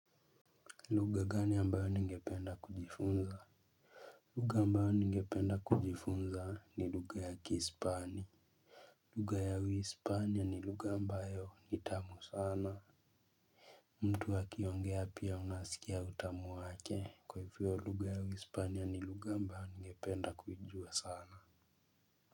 Lugha gani ambayo ningependa kujifunza? Lugha ambayo ningependa kujifunza ni lugha ya kispani. Lugha uhispania ni lugha ambayo ni tamu sana. Mtu akiongea pia unasikia utamu wake kwa hivyo lugha ya uhispania ni lugha ambayo ningependa kujua sana.